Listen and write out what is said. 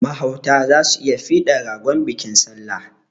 Mahauta za su yi fidan ragon bikin salla.